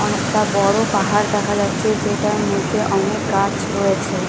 অনেকটা বড় পাহাড় দেখা যাচ্ছে যেটার মধ্যে অনেক গাছ রয়েছে ।